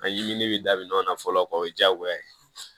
An ɲiminen bɛ daminɛ nɔ fɔlɔ o ye jaagoya ye